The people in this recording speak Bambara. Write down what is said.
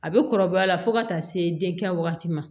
A bɛ kɔrɔbaya fo ka taa se den kɛ wagati ma